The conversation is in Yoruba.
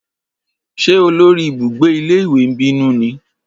Ṣé olórí ibùgbé ilé ìwé ń bínú ni?